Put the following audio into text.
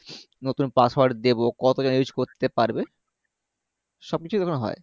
নতুন password দেবো কতজন use করতে পারবে সবকিছু ওখানে হয়